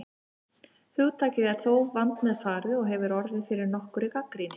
Hugtakið er þó vandmeðfarið og hefur orðið fyrir nokkurri gagnrýni.